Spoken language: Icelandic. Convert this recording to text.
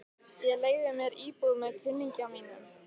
Ég leigði mér íbúð með kunningja mínum.